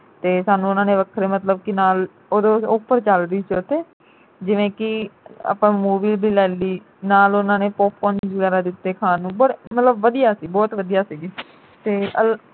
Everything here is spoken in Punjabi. ਤੇ ਸਾਨੂੰ ਉਨ੍ਹਾਂ ਨੇ ਵੱਖਰੇ ਮਤਲਬ ਕਿ ਨਾਲ ਉਦੋੰ ਚਲਦੀ ਸੀ ਉਥੇ ਜਿਵੇਂ ਕਿ ਆਪਾ movie ਵੀ ਲੈ ਲਈ ਨਾਲ ਉਨ੍ਹਾਂ ਨੇ popcorn ਵਗੈਰਾ ਦਿੱਤੇ ਖਾਣ ਨੂੰ ਬੜੇ ਮਤਲਬ ਵਧੀਆ ਸੀ ਬਹੁਤ ਵਧੀਆ ਸੀ ਜੀ